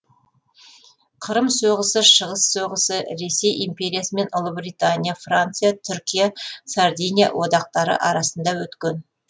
қырым соғысы шығыс соғысы ресей империя мен ұлыбритания франция түркия сардиния одақтары арасында өткен